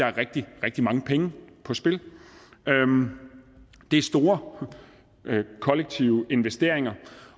rigtig rigtig mange penge på spil det er store kollektive investeringer